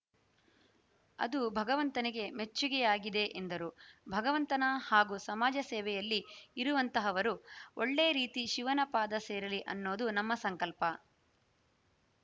ಅದು ಭಗವಂತನಿಗೆ ಮೆಚ್ಚುಗೆಯಾಗಿದೆ ಎಂದರು ಭಗವಂತನ ಹಾಗೂ ಸಮಾಜ ಸೇವೆಯಲ್ಲಿ ಇರುವಂತಹವರು ಒಳ್ಳೆ ರೀತಿ ಶಿವನ ಪಾದ ಸೇರಲಿ ಅನ್ನೋದು ನಮ್ಮ ಸಂಕಲ್ಪ